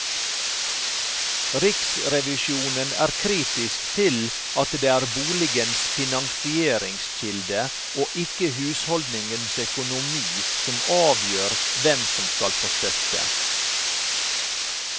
Riksrevisjonen er kritisk til at det er boligens finansieringskilde og ikke husholdningens økonomi som avgjør hvem som skal få støtte.